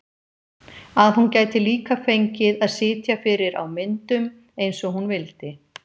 Að hún gæti líka fengið að sitja fyrir á myndum eins og hún vildi.